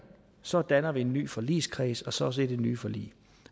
så danner vi en ny forligskreds og så også et nyt forlig